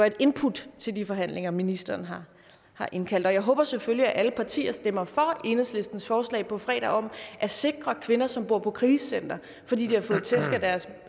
et input til de forhandlinger ministeren har indkaldt til og jeg håber selvfølgelig at alle partier stemmer for enhedslistens forslag på fredag om at sikre kvinder som bor på krisecenter fordi de har fået tæsk af deres